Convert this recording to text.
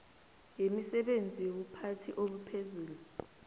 yemisebenzi yobuphathi obuphezulu